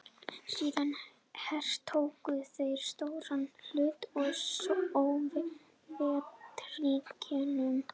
Síðan hertóku þeir stóran hluta af Sovétríkjunum.